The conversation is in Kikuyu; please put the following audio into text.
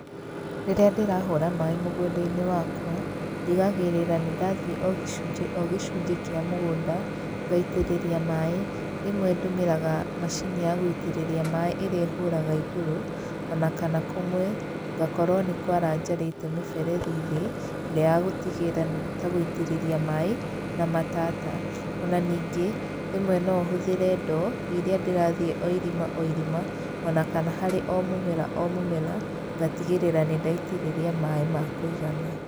Rĩrĩa ndĩrahũra maĩ mũgũnda-inĩ wakwa, ndigagĩrĩra nĩ ndathiĩ o gĩcunjĩ o gĩcunjĩ kĩa mũgũnda, ngaitĩrĩrĩa maĩ, rĩmwe ndũmiraga macini ya gũitĩrĩa maĩ ĩrĩa ĩhũraga igũrũ, ona kana kũmwe ngakorwo nĩ kwara njarĩte mĩberethi thĩ, ĩrĩa ya gũtigĩrĩra nĩ ta gũitĩrĩria maĩ na matata, ona ningĩ rĩmwe no hũthĩre ndoo, rĩrĩa ndĩrathiĩ o irima o irima ona kana harĩ o mũmera o mũmera, ngatigĩrĩra nĩ ndaitĩrĩria maĩ ma kũigana.